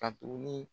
Ka tuguni